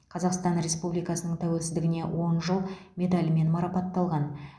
қазақстан республикасының тәуелсіздігіне он жыл медалімен марапатталған